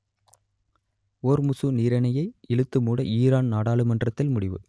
Hormuz நீரிணையை இழுத்து மூட ஈரான் நாடாளுமன்றத்தில் முடிவு